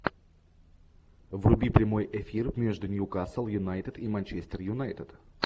вруби прямой эфир между ньюкасл юнайтед и манчестер юнайтед